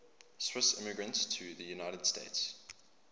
swiss immigrants to the united states